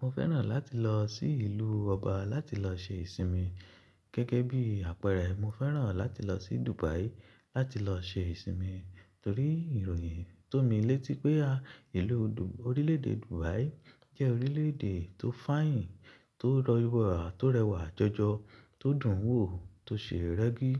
Mo fẹ́ràn láti lọ sí ìlú ọba láti lọ ṣe ìsinmi. Gẹ́gẹ́ bí àpẹẹrẹ, mo fẹ́ràn láti lọ sí Dubai láti lọ ṣe ìsinmi torí ìròyìn tó mí létí pé a, ìlú Du-- orílẹ̀-èdè Dubai jẹ́ orílẹ̀-èdè tó fàyìn, tó rọ wà, tó rẹwà jọjọ, tó dùn wò, tó ṣe rẹ́gí.